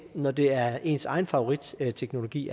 når det er ens egen favoritteknologi